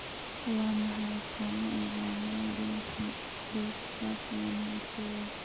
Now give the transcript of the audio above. Waa maxay astamaha iyo calaamadaha Dentin dysplasia, nooca kowaad?